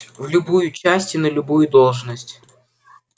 в любую часть и на любую должность